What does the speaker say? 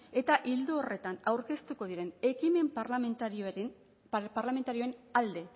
eta ildo horretan aurkeztuko diren ekimen parlamentarioen alde